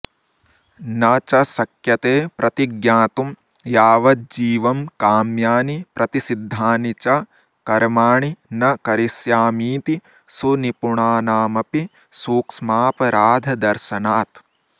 न च शक्यते प्रतिज्ञातुं यावज्जीवं काम्यानि प्रतिषिद्धानि च कर्माणि न करिष्यामीति सुनिपुणानामपि सूक्ष्मापराधदर्शनात्